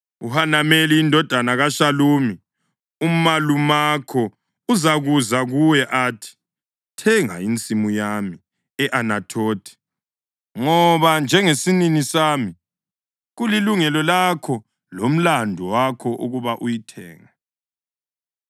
UHanameli indodana kaShalumi umalumakho uzakuza kuwe athi, ‘Thenga insimu yami e-Anathothi, ngoba njengesinini sami kulilungelo lakho lomlandu wakho ukuba uyithenge.’